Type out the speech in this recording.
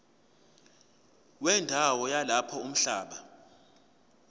wendawo yalapho umhlaba